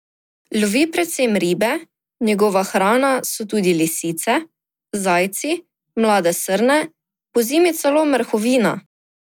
Lovi predvsem ribe, njegova hrana so tudi lisice, zajci, mlade srne, pozimi celo mrhovina.